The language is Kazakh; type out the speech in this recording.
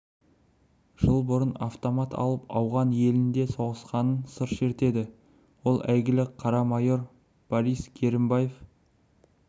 жыл бұрын автомат алып ауған елінде соғысқанынан сыр шертеді ол әйгілі қара майор борис керімбаев